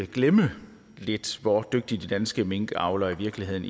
glemme lidt hvor dygtige de danske minkavlere i virkeligheden